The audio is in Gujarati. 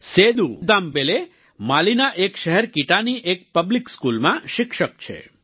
સેદૂ દેમબેલે માલી એક શહેર કીટાની એક પબ્લિક સ્કૂલમાં શિક્ષક છે